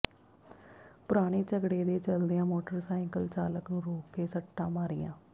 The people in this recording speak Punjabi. ਪੁਰਾਣੇ ਝਗੜੇ ਦੇ ਚੱਲਦਿਆਂ ਮੋਟਰਸਾਈਕਲ ਚਾਲਕ ਨੂੰ ਰੋਕ ਕੇ ਸੱਟਾਂ ਮਾਰੀਆਂ